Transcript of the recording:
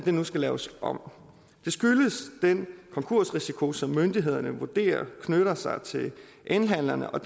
nu skal laves om det skyldes den konkursrisiko som myndighederne vurderer knytter sig elhandlerne og